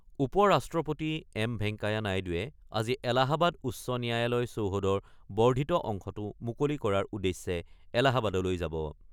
উপ-ৰাষ্ট্ৰপতি এম ভেংকায়া নাইডুৱে আজি এলাহাবাদ উচ্চ ন্যায়ালয় চৌহদৰ বৰ্ধিত অংশটো মুকলি কৰাৰ উদ্দেশ্যে এলাহাবাদলৈ যাব।